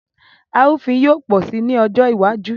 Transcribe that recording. Arúfin yóò pọ̀ sí ní ọjọ́ iwájú